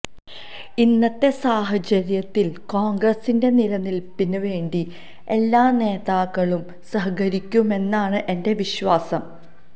ഇന്നത്തെ സാഹചര്യത്തില് കോണ്ഗ്രസിന്റെ നിലനില്പ്പിന് വേണ്ടി എല്ലാ നേതാക്കളും സഹകരിക്കുമെന്നാണ് എന്റെ വിശ്വാസം